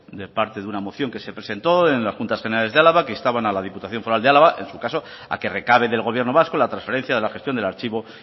de parte de una moción que se presentó en las juntas generales de álava que instaban a las diputación foral de álava en su caso a que recabe del gobierno vasco la transferencia de la gestión del archivo